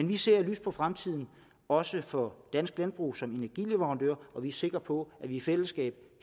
vi ser lyst på fremtiden også for dansk landbrug som energileverandør og vi er sikre på at vi i fællesskab